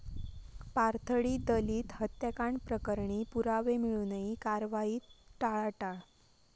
पाथर्डी दलित हत्याकांड प्रकरणी पुरावे मिळुनही कारवाईत टाळाटाळ